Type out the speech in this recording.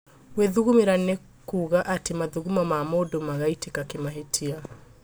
Gwĩthugumĩra nĩ kuga atĩ mathugumo ma mũndũ magaitĩka kĩmahĩtia